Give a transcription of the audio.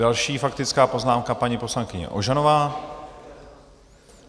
Další faktická poznámka paní poslankyně Ožanová.